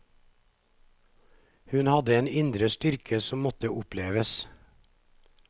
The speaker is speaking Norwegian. Hun hadde en indre styrke som måtte oppleves.